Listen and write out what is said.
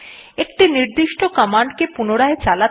একটি নির্দিষ্ট কমান্ডকে পুনরায় চালাতে